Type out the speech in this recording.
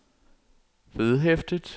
vedhæftet